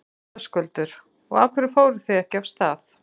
Höskuldur: Og af hverju fóruð þið ekki af stað?